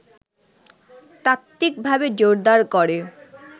তাত্ত্বিকভাবে জোরদার করে